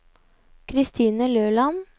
Kristine Løland